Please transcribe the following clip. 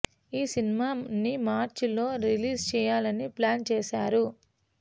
ఈ సినిమా ని మార్చ్ లో రిలీజ్ చెయ్యాలని ప్లాన్ చేసారు